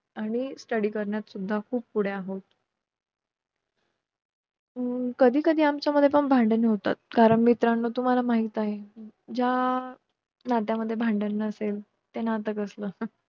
आणि study करण्यात सुद्धा खूप पुढे आहोत हम्म कधीकधी आमच्या मध्ये पण भांडण होतात कारण मित्रानो तुम्हाला माहित आहे ज्या नात्यामध्ये भांडण नसेल त्याना नातं कसलं